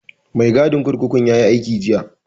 Mai gadin kurkukun yayi aiki jiya